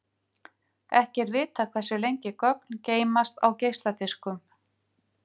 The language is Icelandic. Ekki er vitað hversu lengi gögn geymast á geisladiskum.